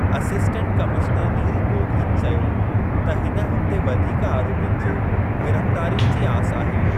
Assistant commissioner Neil Gaughan चयो त हिन हफ़्ते वधीक आरोपनि जे गिरफ़्तारियुनि जी आस आहे।